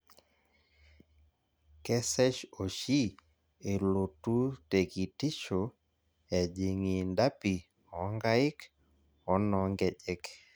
Kesesh oshi elotu te kitisho ejing iidapi oonkaik o noo nkejek